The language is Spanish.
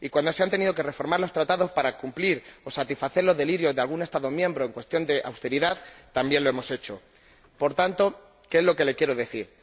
y cuando se han tenido que reformar los Tratados para cumplir o satisfacer los delirios de algún Estado miembro en cuestión de austeridad, también lo hemos hecho. Por tanto, ¿que es lo que le quiero decir?